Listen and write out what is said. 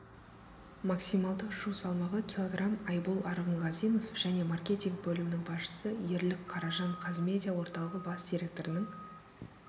максималды ұшу салмағы килограмм айбол арғынғазинов және маркетинг бөлімінің басшысы ерлік қаражан қазмедиа орталығы бас директорының